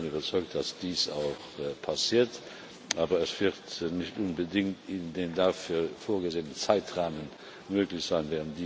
Ich bin davon überzeugt, dass dies auch passiert, aber es wird nicht unbedingt in dem dafür vorgesehenen Zeitrahmen möglich sein.